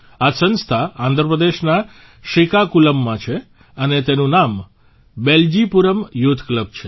આ સંસ્થા આંધ્રપ્રદેશના શ્રીકાકુલમમાં છે અને તેનું નામ બેલ્જીપુરમ યુથ ક્લબ છે